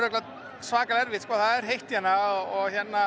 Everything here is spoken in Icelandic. svakalega erfitt sko það er heitt hérna og